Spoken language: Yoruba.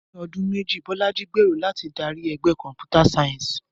Ní ọdún méjì, Bolaji gbèrò láti darí ẹgbẹ́ Computer Science.